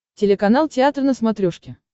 телеканал театр на смотрешке